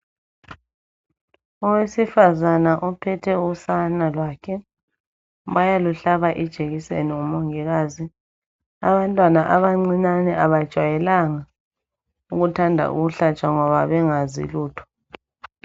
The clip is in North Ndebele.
Owesifazana ophethe usana lwakhe bayaluhlaba ijekiseni ngumongikazi abantwana abancinyane abajwayelanga ukuthanda ukuhlatshwa ngoba bengazi lutho.